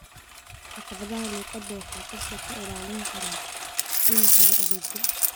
Caqabadaha luqadda waxay qofka ka ilaalin karaan inuu helo adeegyo.